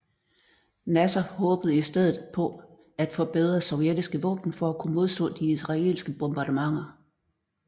Nasser håbede i stedet på at få bedre sovjetiske våben for at kunne modstå de israelske bombardementer